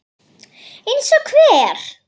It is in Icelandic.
Eins og hver?